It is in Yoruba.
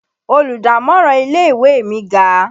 Olùdámọ̀ràn ilé ìwé mi ga